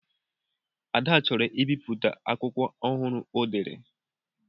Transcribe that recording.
Ada chọrọ ibipụta akwụkwọ ọhụrụ o dere.